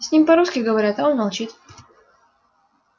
с ним по-русски говорят а он молчит